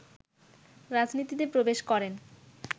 রাজনীতিতে প্রবেশ করেন